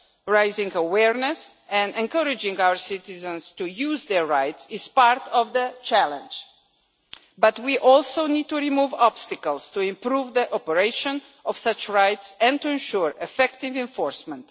Raising awareness and encouraging our citizens to use their rights is part of the challenge, but we also need to remove obstacles to improve the operation of such rights and to ensure effective enforcement.